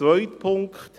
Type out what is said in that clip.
Zweiter Punkt: